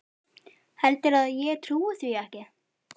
Heldurðu að ég trúi því ekki?